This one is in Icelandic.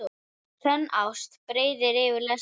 Sönn ást breiðir yfir lesti.